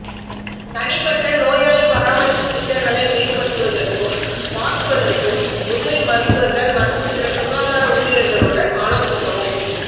தனிப்பட்ட நோயாளி பராமரிப்பு திட்டங்களை மேம்படுத்துவதற்கும் மாற்றுவதற்கும் உதவி மருத்துவர்கள் மற்றும் பிற சுகாதார ஊழியர்களுடன் ஆலோசிக்கவும்